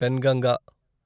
Penganga